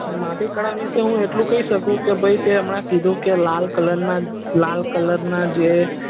માટી કળા વિષે હું એટલું કઈશ શકું કે ભાઈ તે હમણાં કયું કે લાલ કલર ના લાલ કલર ના જે